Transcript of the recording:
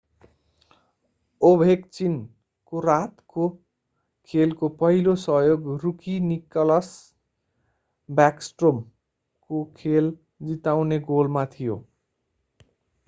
Ovechkin ovechkin को रातको खेलको पहिलो सहयोग रुकी निकलास ब्याकस्ट्रोम nicklas backstrom को खेल जिताउने गोलमा थियो;